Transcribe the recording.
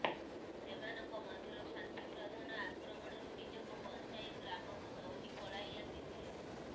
ସେମାନଙ୍କ ମଧ୍ୟରୁ ଶାନ୍ତି ପ୍ରଧାନ ଆକ୍ରମଣରୁ ନିଜକୁ ବଞ୍ଚାଇ ଗ୍ରାମକୁ ଦୌଡ଼ି ପଳାଇ ଆସିଥିଲେ